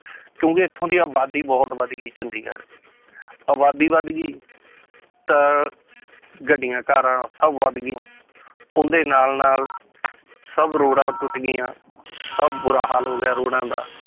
ਕਿਉਂਕਿ ਇੱਥੋਂ ਦੀ ਆਬਾਦੀ ਬਹੁਤ ਵੱਧ ਗਈ ਚੰਡੀਗੜ੍ਹ ਦੀ ਆਬਾਦੀ ਵੱਧ ਗਈ ਤਾਂ ਗੱਡੀਆਂ ਕਾਰਾਂ ਸਭ ਵੱਧ ਗਈਆਂ ਉਹਨਾਂ ਦੇ ਨਾਲ ਨਾਲ ਸਭ ਰੋਡਾਂ ਟੁੱਟ ਗਈਆਂ ਸਭ ਬੁਰਾ ਹਾਲ ਹੋ ਗਿਆ ਰੋਡਾਂ ਦਾ